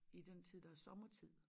I den tid der er sommetid